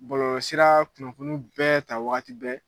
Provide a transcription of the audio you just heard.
Bɔlɔlɔsira kunnafoni bɛ taa wagati bɛɛ